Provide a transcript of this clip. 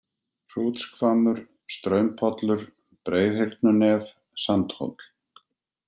Hrútshvammur, Straumpollur, Breiðhyrnunef, Sandhóll